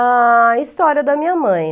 a história da minha mãe.